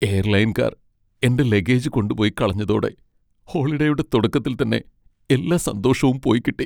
എയർലൈൻകാർ എൻ്റെ ലഗേജ് കൊണ്ടുപോയി കളഞ്ഞതോടെ ഹോളിഡേയുടെ തുടക്കത്തിൽ തന്നെ എല്ലാ സന്തോഷവും പോയിക്കിട്ടി.